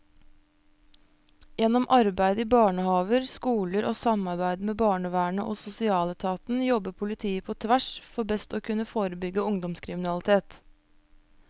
Gjennom arbeid i barnehaver, skoler og samarbeid med barnevernet og sosialetaten jobber politiet på tvers for best å kunne forebygge ungdomskriminalitet.